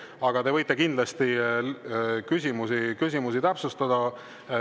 Aga te võite kindlasti küsimusi täpsustada.